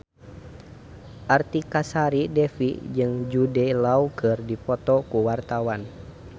Artika Sari Devi jeung Jude Law keur dipoto ku wartawan